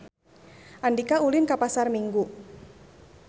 Andika ulin ka Pasar Minggu